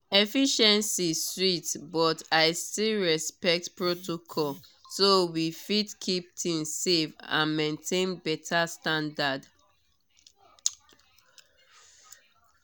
efficiency sweet but i still respect protocol so we fit keep things safe and maintain better standard.